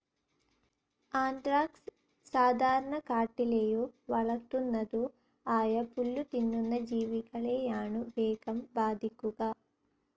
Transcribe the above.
Anthrax സാധാരണ കാട്ടിലേയോ വളർത്തുന്നതോ ആയപുല്ലുതിന്നുന്ന ജീവികളെയാണു വേഗം ബാധിക്കുക.